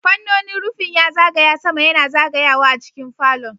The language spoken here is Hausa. Fannonin rufin ya zagaya sama yana zagayawa a cikin falo.